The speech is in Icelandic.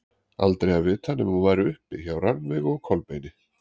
Aldrei að vita nema hún væri uppi hjá Rannveigu og Kolbeini.